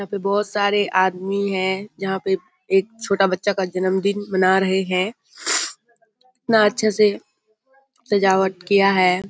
यहाँ पे बहुत सारे आदमी हैं जहाँ पे एक छोटा बच्चा का जन्मदिन मना रहे हैं | इतना अच्छा से सजावट किया है |